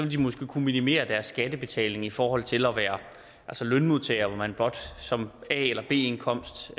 de måske kunne minimere deres skattebetaling i forhold til at være lønmodtagere hvor man blot som a eller b indkomst